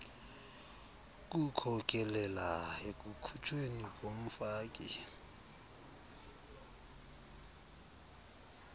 kukhokelela ekukhutshweni komfaki